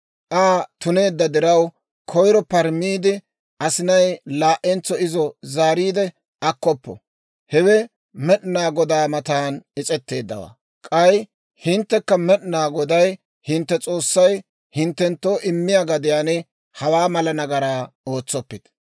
Aa tuneedda diraw, koyiro parameedda asinay laa"entso izo zaariide akkoppo. Hewe Med'inaa Godaa matan is's'etteeddawaa; k'ay hinttekka Med'inaa Goday hintte S'oossay hinttenttoo immiyaa gadiyaan hawaa mala nagaraa ootsoppite.